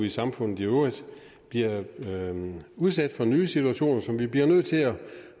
i samfundet i øvrigt bliver udsat for nye situationer som vi bliver nødt til at